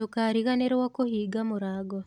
Ndũkariganĩrũo kũhinga mũrango.